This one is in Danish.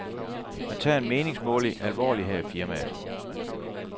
Man tager en meningsmåling alvorligt her i firmaet.